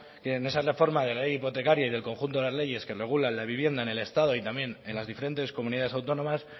que en esa reforma de la ley hipotecaria y del conjunto de las leyes que regulan la vivienda en el estado y también en las diferentes comunidades autónomas